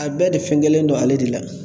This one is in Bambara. A bɛɛ de fɛngɛlen don ale de la